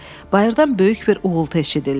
Bayırdan böyük bir uğultu eşidildi.